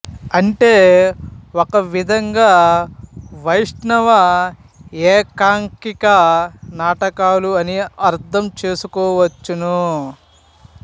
అంటే ఒకవిధంగా వైష్ణవ ఏకాంకిక నాటకాలు అని అర్ధం చేసుకోవచ్చును